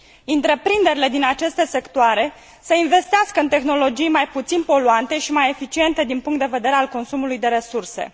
întreprinderile din aceste sectoare să investească în tehnologii mai puțin poluante și mai eficiente din punct de vedere al consumului de resurse.